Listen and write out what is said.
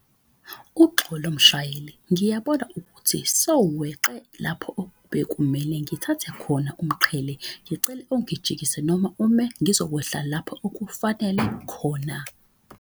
Uxolo mshayeli ngiyabona ukuthi seweqe lapho bekumele ngithathe khona umqhele. Ngicele ungijikise noma ume ngizokwehla lapho okufanele khona.